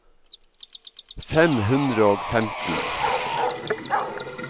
fem hundre og femten